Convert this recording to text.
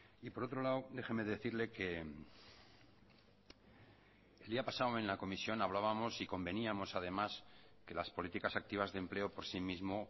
y por otro lado déjeme decirle que el día pasado en la comisión hablábamos y conveníamos además que las políticas activas de empleo por sí mismo